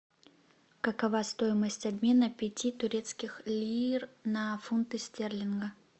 какова стоимость обмена пяти турецких лир на фунты стерлинга